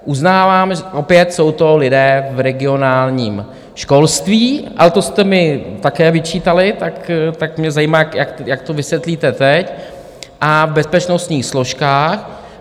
Uznávám, že opět jsou to lidé v regionálním školství, ale to jste mi také vyčítali, tak mě zajímá, jak to vysvětlíte teď, a v bezpečnostních složkách.